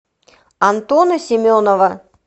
антона семенова